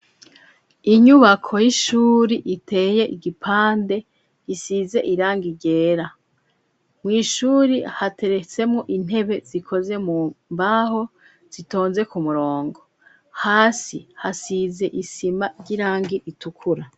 Inyubako y'ishuri iteye igipande isize irangi ryera mu ishuri hateretsemwo intebe zikoze mu mbaho zitonze ku murongo hasi hasize isima ry'irangi itukura.